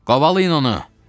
Qovalayın onu!